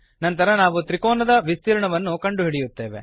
ನಂತರ ನಾವು ತ್ರಿಕೋನದ ವಿಸ್ತೀರ್ಣವನ್ನು ಕಂಡುಹಿಡಿಯುತ್ತೇವೆ